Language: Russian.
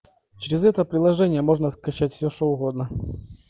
через это приложение можно скачать все что угодно